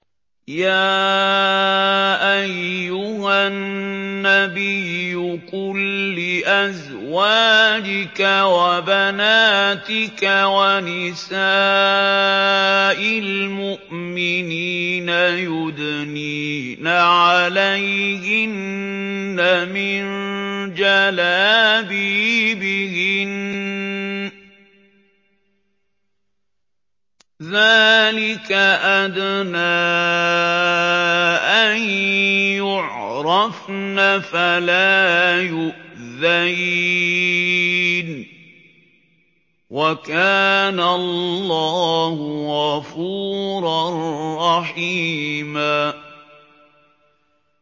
يَا أَيُّهَا النَّبِيُّ قُل لِّأَزْوَاجِكَ وَبَنَاتِكَ وَنِسَاءِ الْمُؤْمِنِينَ يُدْنِينَ عَلَيْهِنَّ مِن جَلَابِيبِهِنَّ ۚ ذَٰلِكَ أَدْنَىٰ أَن يُعْرَفْنَ فَلَا يُؤْذَيْنَ ۗ وَكَانَ اللَّهُ غَفُورًا رَّحِيمًا